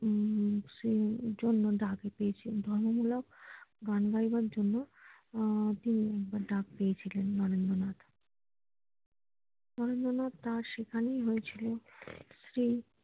উম সেই জন্য ডাক পেয়েছেন ধর্ম মূলক গান গাইবার জন্য আহ তিনি ডাক পেয়েছিলেন নরেন্দ্রনাথ নরেন্দ্রনাথ তার সেখানেই হয়েছিলো শ্রী